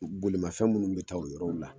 Bolimafɛn minnu bɛ taa o yɔrɔw la